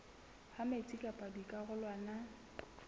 ha metsi pakeng tsa dikarolwana